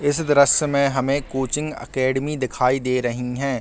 इस द्रश्य में हमें कोचिंग एकेडेमी दिखाई दे रही है ।